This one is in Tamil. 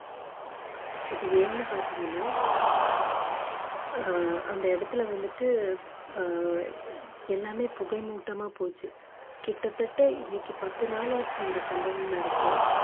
இது ஏன்னு பாத்தீங்கன்னா ஆஹ் அந்த இடத்துல வந்துட்டு ஆஹ் எல்லாமே புகை மூட்டமா போச்சு கிட்டத்தட்ட இன்னைக்கு பத்து நாளாச்சு இந்த சம்பவம் நடந்து